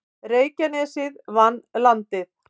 Reykjanesið vann Landið